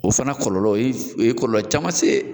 O fana kɔlɔlɔ o yi o ye kɔlɔlɔ caman se.